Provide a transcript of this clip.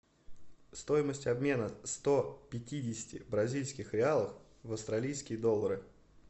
стоимость обмена сто пятидесяти бразильских реалов в австралийские доллары